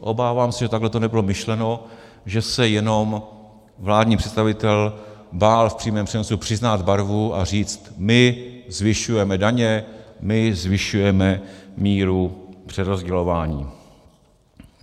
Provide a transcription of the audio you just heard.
Obávám se, že takhle to nebylo myšleno, že se jenom vládní představitel bál v přímém přenosu přiznat barvu a říct: my zvyšujeme daně, my zvyšujeme míru přerozdělování...